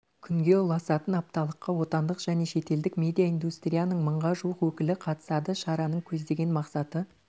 күнге ұласатын апталыққа отандық және шетелдік медиа индустрияның мыңға жуық өкілі қатысады шараның көздеген мақсаты